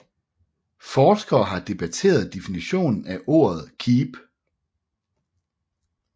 Forskere har debatteret definitionen af ordet keep